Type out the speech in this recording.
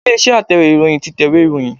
Ilé-iṣẹ́ Atẹ̀wé ìròyìn tí tẹ̀wé ìròyìn.